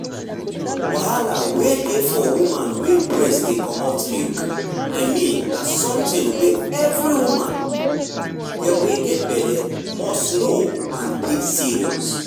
wahala wey dey for woman wey breast dey comot milk i mean na something wey every woman wey get belle must know and take serious.